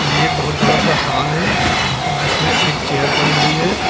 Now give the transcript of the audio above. ये एक बहोत बड़ा सा हॉल है जिसमें एक चेयर पड़ी हुई है।